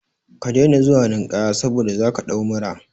Ka daina zuwa ninkaya saboda zaka ɗau mura